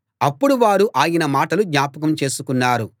అప్పుడు వారు ఆయన మాటలు జ్ఞాపకం చేసుకున్నారు